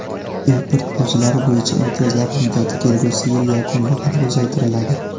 import bojlari bo‘yicha imtiyozlar muddati kelgusi yil yakuniga qadar uzaytiriladi.